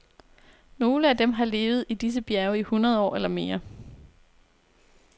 Nogle af dem har levet i disse bjerge i hundrede år eller mere.